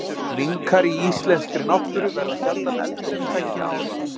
Minkar í íslenskri náttúru verða sjaldan eldri en tveggja ára.